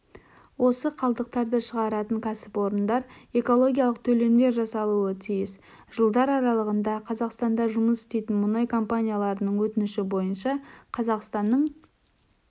осы қалдықтарды шығаратын кәсіпорындар экологиялық төлемдер жасаулары тиіс жылдар аралығында қазақстанда жұмыс істейтін мұнай компанияларының өтініші бойынша қазақстанның